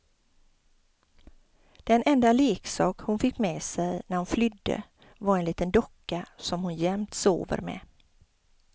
Den enda leksak hon fick med sig när hon flydde var en liten docka som hon jämt sover med.